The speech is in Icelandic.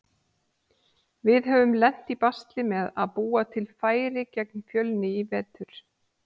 Við höfum lent í basli með að búa til færi gegn Fjölni í vetur.